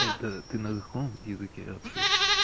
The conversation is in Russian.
это ты на каком языке вообще